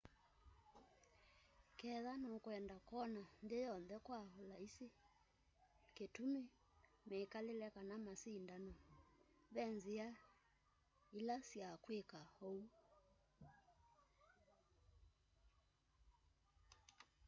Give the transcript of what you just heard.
ketha nukwenda kwona nthĩ yonthe kwa ũlaisi kĩtũmĩ mĩkalĩle kana masĩndano ve nzĩa ĩla sya kwĩka oũ